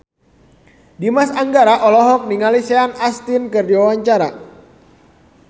Dimas Anggara olohok ningali Sean Astin keur diwawancara